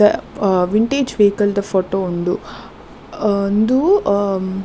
ಅಹ್ vintage ವೈಕಲ್ದ photo ಉಂಡು ಅಹ್ ಉಂದು ಅಹ್ --